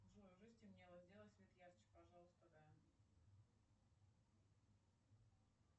джой уже стемнело сделай свет ярче пожалуйста да